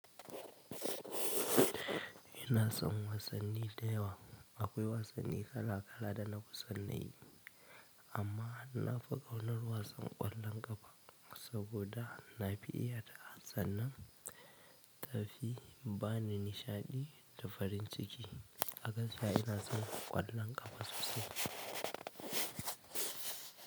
Ina son wasanni da yawa. Akwai wasanni kala kala da nafi san nayi, amma nafi ƙaunar wasan ƙwallon ƙafa saboda na fi iya ta. Sannan, tafi, bani nisa ne da farin ciki. A gaskiya ina son ƙwallon ƙafa sosai.